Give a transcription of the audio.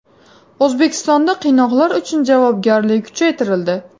O‘zbekistonda qiynoqlar uchun javobgarlik kuchaytirildi.